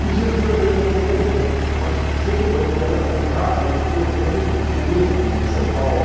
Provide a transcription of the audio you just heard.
Isso eu estranhei um pouco também, mas sem problema, me adaptei rápido porque eu tenho o meu kit São Paulo.